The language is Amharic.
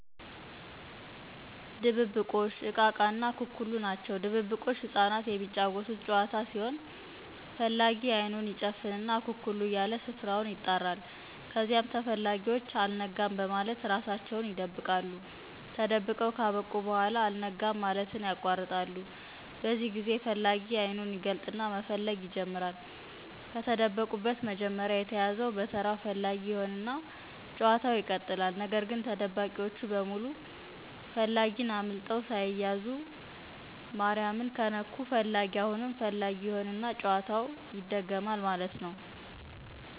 ድብብቆሽ፣ እቃ እቃ እና አኩኩሉ ናቸው ድብብቆሽ ህጻናት የሚጫወቱት ጨዋታ ሲሆን ፈላጊ አይኑን ይጨፍንና «አኩኩሉ» እያለ ስፍራ ውን ይጣራል ከዚያም ተፈላጊወች «አልነጋም» በማለት እራሳቸውን ይደብቃሉ። ተደብቀው ካበቁ በኋላ «አልነጋም» ማለትን ያቋርጣሉ በዚህ ጊዜ ፈላጊ አይኑን ይገልጥና መፈለግ ይጀምራል። ከተደበቁት መጀመሪያ የተያዘው በተራው ፈላጊ ይሆንና ጨዋታው ይቀጥላል። ነገር ግን ተደባቂወቹ በሙሉ ፈላጊን አምልጠው ሳይያዙ ማሪያምን ከነኩ ፈላጊ አሁንም ፈላጊ ይሆና ጨዋታው ይደገማል ማለት ነው።